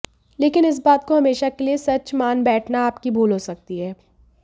लेकिन इस बात को हमेशा के लिये सच मान बैठना आपकी भूल हो सकती है